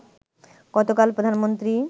গতকাল প্রধানমন্ত্রী